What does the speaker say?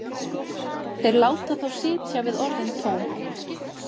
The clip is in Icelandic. Þeir láta þá sitja við orðin tóm.